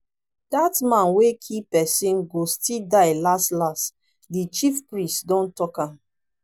that man wey kee person go still die las las the chief priest don talk am